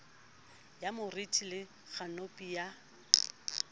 ya moriti le khanopi ya